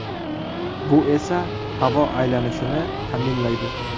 Bu esa havo aylanishini ta’minlaydi.